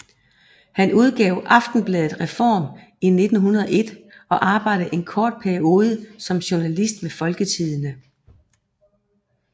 Han udgav aftenbladet Reform i 1901 og arbejdede en kort periode som journalist ved Folketidende